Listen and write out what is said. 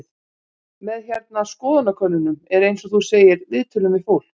Með hérna, skoðanakönnunum og eins og þú segir, viðtölum við fólk?